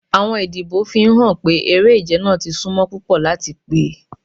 Awọn idibo n fihan pe ere-ije naa ti sunmo pupọ lati pe